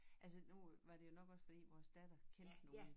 Altså nu var det jo nok også fordi vores datter kendte nogen